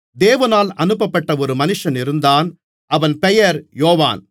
தேவனால் அனுப்பப்பட்ட ஒரு மனிதன் இருந்தான் அவன் பெயர் யோவான்